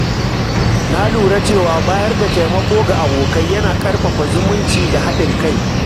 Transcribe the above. Na lura cewa bayar da taimako ga abokai yana ƙarfafa zumunci da haɗin kai.